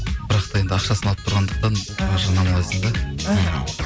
бірақ та енді ақшасын алып тұрғандықтан жарнамалайсың да іхі